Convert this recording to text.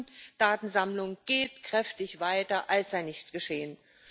Die Massendatensammlung geht kräftig weiter, als sei nichts geschehen.